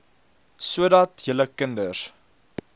sodat julle kinders